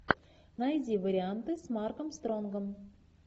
найди варианты с марком стронгом